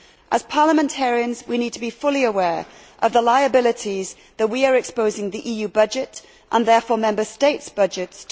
As parliamentarians we need to be fully aware of the liabilities to which we are exposing the EU budget and, therefore, Member States' budgets.